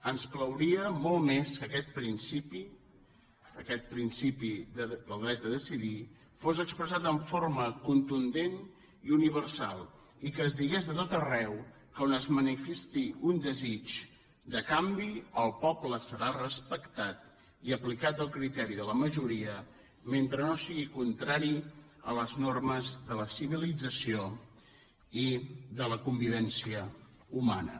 ens plauria molt més que aquest principi aquest principi del dret a decidir fos expressat en forma contundent i universal i que es digués a tot arreu que on es manifesti un desig de canvi el poble ser respectat i aplicat el criteri de la majoria mentre no sigui contrari a les normes de la civilització i de la convivència humana